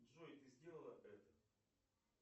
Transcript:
джой ты сделала это